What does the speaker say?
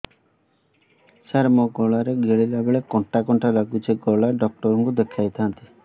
ସାର ମୋ ଗଳା ରେ ଗିଳିଲା ବେଲେ କଣ୍ଟା କଣ୍ଟା ଲାଗୁଛି ଗଳା ଡକ୍ଟର କୁ ଦେଖାଇ ଥାନ୍ତି